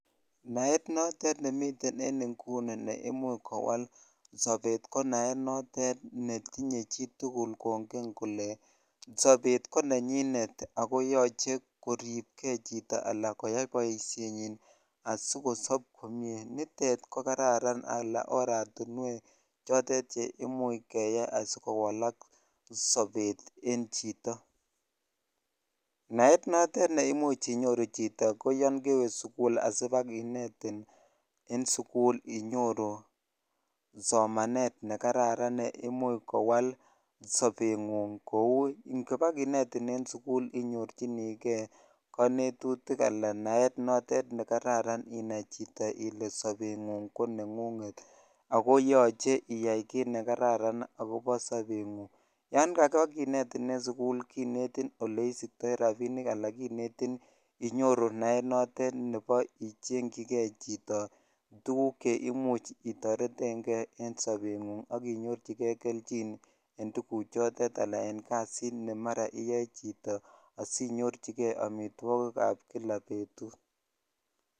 Naet notet nemiten en ing'uni neimuche kowal konaet notet netinye chitukul kong'en kolee sobet konenyinet ako yoche koriipke chito alaa koyai boishenyin asikosob komnye, nitet ko kararan alaa oratinwek chotet cheimuch keyai asikowalak sobet en chito, yaet notet neimuch inyoru chito ko yoon kewe sukul asibakinetin en sukul inyoru somanet nekararanneimuch kowal sobeng'ung kouu ng'eba kinetin en sukul inyorchinike konenutik alaa naet notet nekararan inai chito ilee sobeng'ung koneng'unget ak koyoche iyai kiit nekararan akobo sobeng'ung, yoon kabakinetin en sukul kinetin oleisiktoi rabinik alaa kinetin inyoru nart notet nebo ichengyike chito tukuk cheimuch itoreteng'e en sobeng'ung ak inyorchike kelchin en tukuchotet alaa en kasit nemara iyoe chito asinyorchike amitwokikab kila betut.